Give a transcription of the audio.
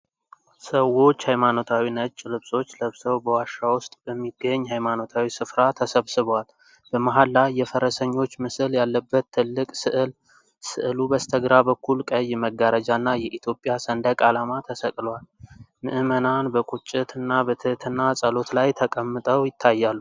ሰዎች ሃይማኖታዊ ነጭ ልብሶች ለብሰው በዋሻ ውስጥ በሚገኝ ሃይማኖታዊ ስፍራ ተሰብስበዋል። በመሃል ላይ፣ የፈረሰኞች ምስል ያለበት ትልቅ ሥዕል፣ ሥዕሉ በስተግራ በኩል ቀይ መጋረጃና የኢትዮጵያ ሰንደቅ ዓላማ ተሰቅለዋል። ምዕመናን በቁጭት እና በትህትና ጸሎት ላይ ተቀምጠው ይታያሉ።